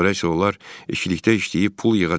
Sonra isə onlar ikilikdə işləyib pul yığacaq.